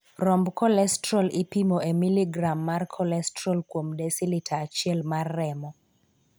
Romb kolestrol ipimo e miligram mar kolestrol kuom desilita achiel mar remo.